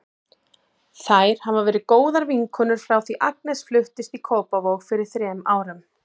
Þær hafa verið góðar vinkonur frá því að Agnes fluttist í Kópavog fyrir þrem árum.